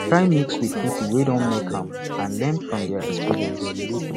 try mix with pipo wey don make am and learn from their experience